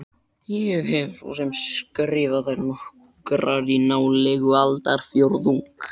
Ég hef svo sem skrifað þær nokkrar í nálega aldarfjórðung.